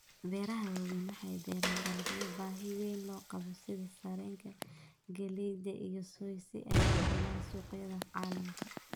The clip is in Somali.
Beeraha waaweyn waxay beeraan dalagyo baahi weyn loo qabo sida sarreenka, galleyda, iyo soy si ay u helaan suuqyada caalamka.